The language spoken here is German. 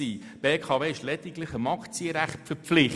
Die BKW ist lediglich dem Aktienrecht verpflichtet.